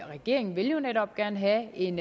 regeringen vil jo netop gerne have en